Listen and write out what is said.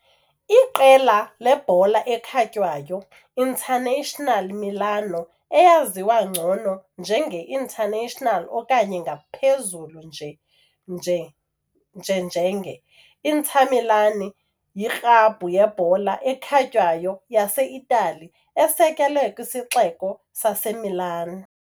Iqela lebhola ekhatywayo i-Internazionale Milano, eyaziwa ngcono njenge - Internazionale okanye ngaphezulu nje njenge - Inter Milan, yiklabhu yebhola ekhatywayo yase-Itali esekelwe kwisixeko saseMilan.